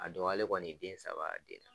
A dɔgɔyalen kɔni den saba den